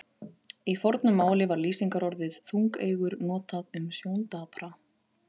Í fornu máli var lýsingarorðið þungeygur notað um sjóndapra.